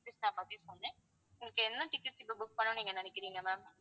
உங்களுக்கு என்ன tickets இப்ப book பண்ணணும்னு நீங்க நினைக்கிறீங்க ma'am